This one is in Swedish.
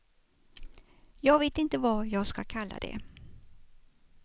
Jag vet inte vad jag ska kalla det.